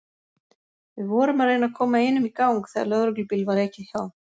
Við vorum að reyna að koma einum í gang þegar lögreglubíl var ekið hjá.